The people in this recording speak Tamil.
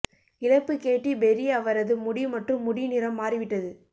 இழப்பு கேட்டி பெர்ரி அவரது முடி மற்றும் முடி நிறம் மாறிவிட்டது